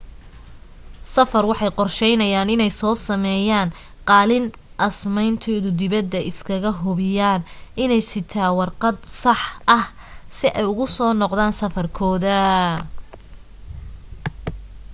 safar waxay qorsheynayaan iney so sameeyan qaalin asaymanti dibada iska hubiyaan iney sitaa warqado sax ah si ay ugu soo noqdan safar kooda